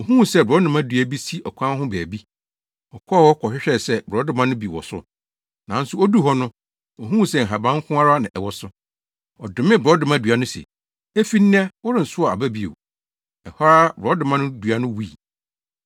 Ohuu sɛ borɔdɔma dua bi si ɔkwan ho baabi. Ɔkɔɔ hɔ kɔhwɛɛ sɛ borɔdɔma no bi wɔ so, nanso oduu hɔ no, ohuu sɛ nhaban nko ara na ɛwɔ so. Ɔdomee borɔdɔma dua no se, “Efi nnɛ, worensow aba bio!” Ɛhɔ ara borɔdɔma dua no wui.